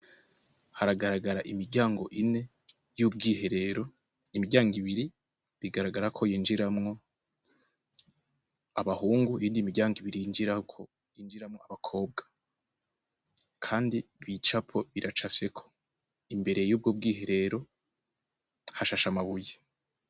Haragaragara imiryango ine y'ubw iherero imiryango ibiri bigaragara ko yinjiramwo abahungu indi imiryango ibiri yinjirako yinjiramwo abakobwa, kandi bicapo biraca fyeko imbere y'ubwo bwiherero hashasha amabuyi.